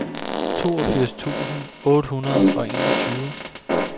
toogfirs tusind otte hundrede og enogtyve